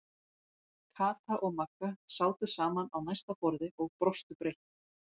Kata og Magga sátu saman á næsta borði og brostu breitt.